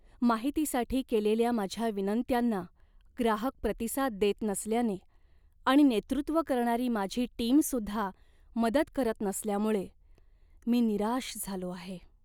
माहितीसाठी केलेल्या माझ्या विनंत्यांना ग्राहक प्रतिसाद देत नसल्याने आणि नेतृत्व करणारी माझी टीमसुद्धा मदत करत नसल्यामुळे मी निराश झालो आहे.